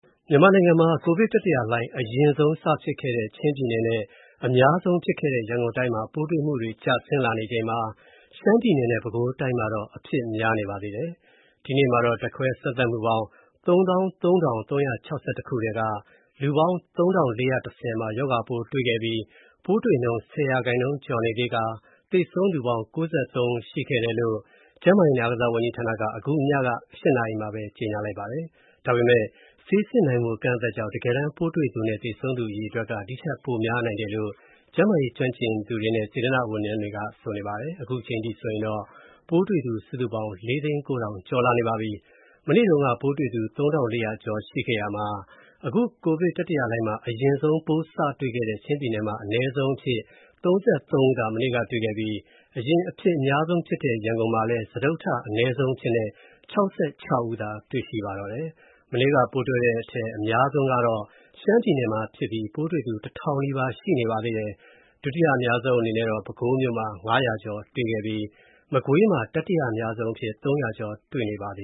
မြန်မာနိုင်ငံမှာ ကိုဗစ်တတိယလှိုင်း အရင်ဆုံးစဖြစ်ခဲ့တဲ့ ချင်းပြည်နယ်နဲ့ အများဆုံးဖြစ်ခဲ့တဲ့ ရန်ကုန်တိုင်းမှာ ပိုးတွေ့မှုတွေ ကျဆင်းလာချိန်မှာ ရှမ်းပြည်နယ်နဲ့ ပဲခူးတိုင်းမှာတော့ အဖြစ်များနေပါသေးတယ်။ ဒီနေ့မှာတော့ ဓာတ်ခွဲစမ်းသပ်မှုပေါင်း ၃၃,၃၆၁ ခုထဲက၊ လူပေါင်း ၃,၄၁၀ ဦးမှာရောဂါပိုးတွေခဲ့ပြီး သေဆုံးသူပေါင်း ၉၃ ယောက် ရှိတယ်လို့ ကျန်းမာရေးနဲ့ အားကစားဝန်ကြီးဌာနရဲ့ ည ၈ နာရီထုတ်ပြန်ချက်မှာ ဖော်ပြထားပါတယ်။ ဒါပေမဲ့ ဆေးစစ်နိုင်မူ အကန့်အသတ်ကြောင့် တကယ်တမ်း ပိုးတွေ့သူနဲ့ သေဆုံးသူအရေအတွက်က ဒီထက်ပိုများနိုင်တယ်လို့ ကျန်းမာရေးကျွမ်းကျင်သူတွေနဲ့ စေတနာ့ဝန်ထမ်းတွေက ဆိုပါတယ်။ မနေ့တုံးက ပိုးတွေ့ သူ ၃,၄၀၀ ကျော်ရှိခဲ့ရာမှာ အခုကိုဗစ်တတိယလှိုင်းမှာ အရင်ဆုံးပိုးစတွေ့ခဲ့တဲ့ ချင်းပြည်နယ်မှာ အနည်းဆုံးအဖြစ် ၃၃ ဦးသာ မနေ့ကတွေ.ရှိခဲ့ပြီး အရင်အဖြစ်အများဆုံးဖြစ်ခဲ့တဲ့ ရန်ကုန်မှာလည်း စတုတ္ထအနည်းဆုံးအဖြစ် ၆၆ ဦးသာတွေ့ရှိခဲ့ပါတယ်။ မနေ့ကပိုးတွေ့တဲ့အထဲ အဖြစ်အများဆုံးကတော့ ရှမ်းပြည်နယ်ဖြစ်ပြီး ပိုးတွေ့သူ ၁,၀၀၀ နီးပါးရှိနေပါသေးတယ်။ ဒုတိယအများဆုံးအနေနဲ့တော့ ပဲခူးတိုင်းမှာ ၅၀၀ ကျော်တွေ့ခဲ့ပြီး မကွေးမှာ တတိယအများဆုံး ၃၀၀ ကျော်တွေ့ခဲ့ပါတယ